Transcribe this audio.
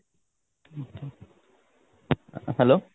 hello